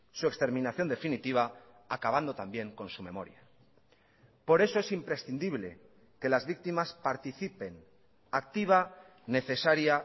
su exterminación definitiva acabando también con su memoria por eso es imprescindible que las víctimas participen activa necesaria